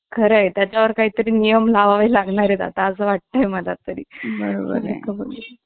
खरा आहे त्याचावर काहीतरी नियम लावावे लागणार आहेत आता असं वाटतंय मला तरी मिळत , बरोबर हय